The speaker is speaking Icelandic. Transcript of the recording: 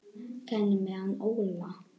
Hvernig er með hann Óla?